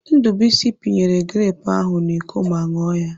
Ndubuisi pinyere grepụ ahụ n'Iko ma ṅụọ ya.